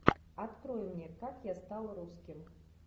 открой мне как я стал русским